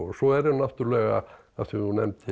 svo eru náttúrulega af því þú nefndir